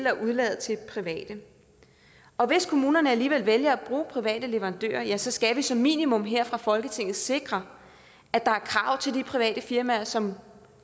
at overlade til private og hvis kommunerne alligevel vælger at bruge private leverandører ja så skal vi som minimum her fra folketingets side sikre at der er krav til de private firma som